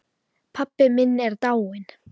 Pabbi minn er dáinn.